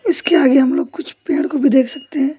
उसके आगे हम लोग कुछ पेड़ को भी देख सकते हैं।